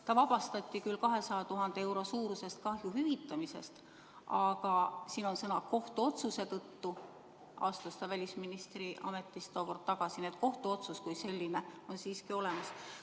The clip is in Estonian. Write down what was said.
Ta vabastati küll 200 000 euro suuruse kahju hüvitamisest, aga siin on sõnad "kohtuotsuse tõttu" ja sellepärast astus ta tookord välisministri ametist tagasi, nii et kohtuotsus kui selline on siiski olemas.